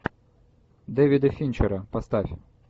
дэвида финчера поставь